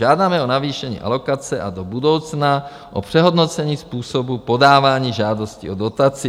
Žádáme o navýšení alokace a do budoucna o přehodnocení způsobu podávání žádostí o dotaci.